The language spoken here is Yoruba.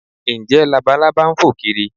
Ǹjẹ́ Labalábá ń fò kiri?